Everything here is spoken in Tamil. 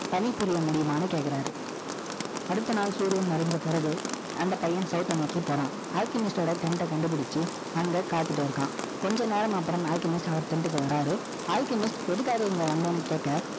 பணி புரிய முடியுமான்னு, கேட்கிறாரு. அடுத்த நாள், சூரியன் மறைஞ்ச பிறகு, அந்த பையன், south அ நோக்கி போறான். Alchemist Tent அ கண்டுபிடிச்சு, அங்க காத்துட்டு இருக்கான். கொஞ்ச நேரம் அப்புறம், Alchemist, அவர் Tent க்கு வர்றாரு, Alchemist எதுக்காக இங்க வந்தேன்னு கேட்க,